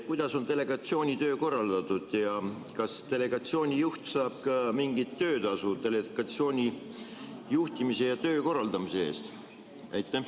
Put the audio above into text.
Kuidas on delegatsiooni töö korraldatud ja kas delegatsiooni juht saab ka mingit töötasu delegatsiooni juhtimise ja töö korraldamise eest?